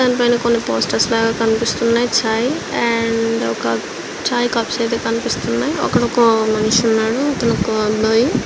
దాని పైనా రెండు పోస్టర్స్ లాగా కనిపిస్తున్నాయి చై అండ్ ఒక చై కప్స్ అయ్యితే కనిపిస్తున్నాయి అక్కడ ఒక మనిషి అతను ఒక --